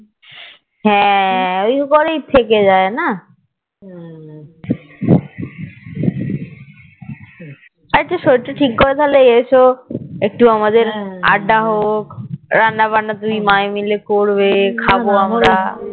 আচ্ছা তাহলে শরীর তা ঠিক করে তাহলে এস একটু আমাদের আড্ডা হোক রান্না বান্না দুই মায়ে করবে খাবো আমরা